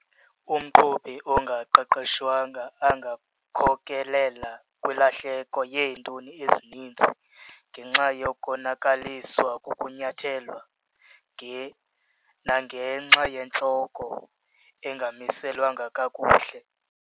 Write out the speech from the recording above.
Umqhubi ongaqeqeshwanga angakhokelela kwilahleko yeetoni ezininzi ngenxa yokonakaliswa kukunyathelwa nangenxa yentloko engamiselwanga kakuhle.